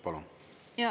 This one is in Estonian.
Palun!